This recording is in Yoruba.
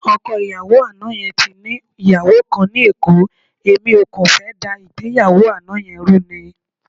Ọkọ ìyàwó àná yẹn ti ní ìyàwó kan ní Èkó, èmi ò kàn fẹ́ dá ìgbéyàwó àná yẹn rú ni.